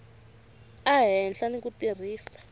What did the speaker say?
a hlela ni ku tirhisa